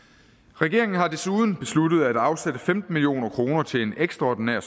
regeringen har desuden besluttet at afsætte femten million kroner til en ekstraordinær